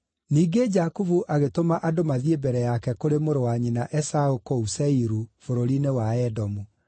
Ningĩ Jakubu agĩtũma andũ mathiĩ mbere yake kũrĩ mũrũ wa nyina Esaũ kũu Seiru, bũrũri-inĩ wa Edomu.